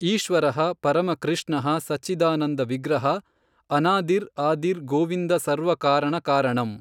ಈಶ್ವರಃ ಪರಮ ಕೃಷ್ಣಃ ಸಚ್ಚಿದಾನಂದ ವಿಗ್ರಹಃ ಅನಾದಿರ್ ಆದಿರ್ ಗೋವಿಂದ ಸರ್ವ ಕಾರಣ ಕಾರಣಂ.